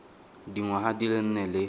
dingwaga di le nne le